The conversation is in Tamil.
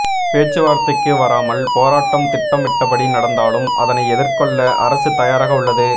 பேச்சுவார்த்தைக்கு வராமல் போராட்டம் திட்டமிட்டபடி நடந்தாலும் அதனை எதிர்கொள்ள அரசு தயாராக உள்ளது